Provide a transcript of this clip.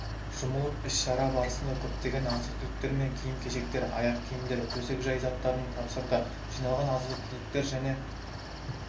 жұмылып іс-шара барысында көптеген азық-түліктер мен киім-кешектер аяқ киімдер төсек-жай заттарын тапсырды жиналған азық-түліктер және